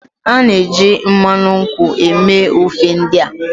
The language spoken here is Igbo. A na-eji mmanụ nkwụ eme ofe ndị a